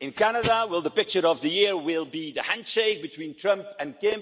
in Canada, or will the picture of the year be the handshake between Trump and Kim?